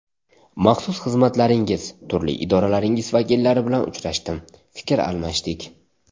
Maxsus xizmatlaringiz, turli idoralaringiz vakillari bilan uchrashdim, fikr almashdik.